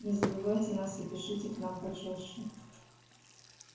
не забывайте нас и пишите к нам почаще